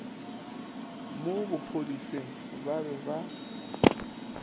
mo bophodiseng ba be ba